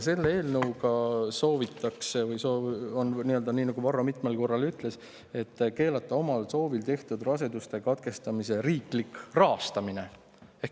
Selle eelnõuga soovitakse – nagu Varro mitmel korral juba ütles – keelata omal soovil tehtud raseduse katkestamise riiklik rahastamine.